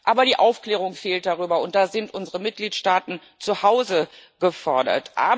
Aber die Aufklärung darüber fehlt, und da sind unsere Mitgliedstaaten zu Hause gefordert.